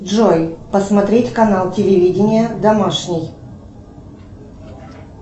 джой посмотреть канал телевидения домашний